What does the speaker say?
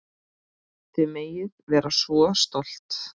Þið megið vera svo stolt.